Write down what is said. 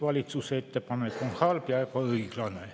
Valitsuse ettepanek on halb ja ebaõiglane.